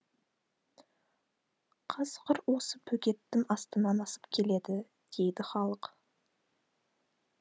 қасқыр осы бөгеттің астынан асып келеді дейді халық